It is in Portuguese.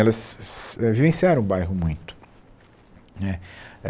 Elas vivenciaram o bairro muito né.